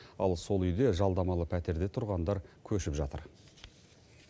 ал сол үйге жалдамалы пәтерде тұрғандар көшіп жатыр